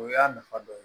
O y'a nafa dɔ ye